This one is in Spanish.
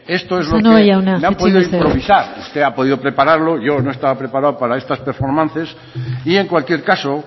esto es casanova jauna itxaron mesedez esto es los que han podido improvisar usted ha podido preparar pero yo no estaba preparado para estas performances y en cualquier caso